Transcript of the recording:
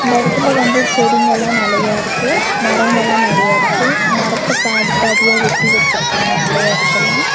இந்த எடத்துல வந்து செடிங்கலா நெலைய இருக்கு மரங்கள நெறைய இருக்கு மரத்த பாதி பாதியா வெட்டி வச்சிருக்காங்க நெறைய எடத்துல.